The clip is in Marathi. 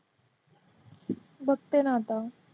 बघते ना आता.